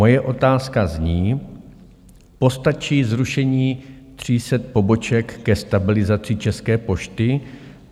Moje otázka zní: Postačí zrušení 300 poboček ke stabilizaci České pošty?